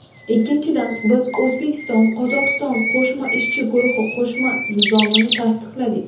Ikkinchidan, biz O‘zbekistonQozog‘iston qo‘shma ishchi guruhi qo‘shma nizomini tasdiqladik.